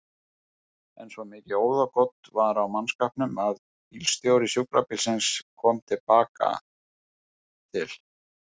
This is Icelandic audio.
En svo mikið óðagot var á mannskapnum að bílstjóri sjúkrabílsins kom til baka til